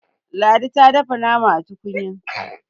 ladi ta dafa nama a tukunya